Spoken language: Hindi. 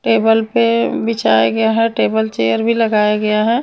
टेबल पे बिछाया गया है टेबल चेयर भी लगाया गया है।